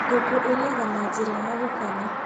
Ngũkũ irĩaga na njĩra ya gũkanya.